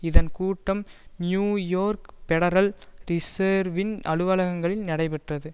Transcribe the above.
இதன் கூட்டம் New York federal ரிசேர்வின் அலுவலகங்களில் நடைபெற்றது